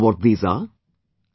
Do you know what these are